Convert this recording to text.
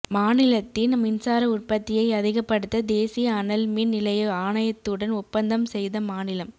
மாநிலத்தின் மின்சார உற்பத்தியை அதிகப்படுத்த தேசிய அனல்மின் நிலைய ஆணையத்துடன் ஒப்பந்தம் செய்த மாநிலம்